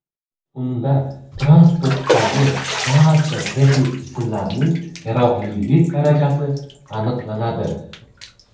Unda transportdagi barcha texnik jismlarning yaroqlilik darajasi aniqlanadi.